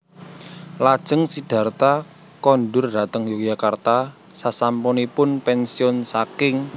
Lajeng Sidharta kondur dhateng Yogyakarta sasampunipun pensiun saking